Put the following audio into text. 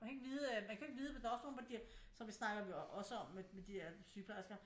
Man kan ikke vide øh man kan jo ikke vide der er jo også nogle der giver som vi snakker også om med de der sygeplejersker